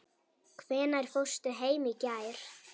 Hvenær fórstu heim í gær?